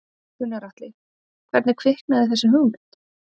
Gunnar Atli: Hvernig kviknaði þessi hugmynd?